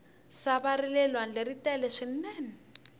sava rale lwandle ri tele swinene